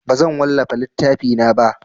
Bazan wallafa littafina ba.